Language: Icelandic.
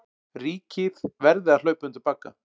Ríkið verði að hlaupa undir bagga